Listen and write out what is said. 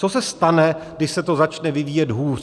Co se stane, když se to začne vyvíjet hůř?